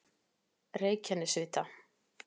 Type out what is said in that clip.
Reykjanesvita